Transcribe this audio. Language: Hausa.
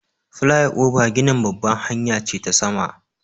Flyover ginin babbar hanya ce ta sama.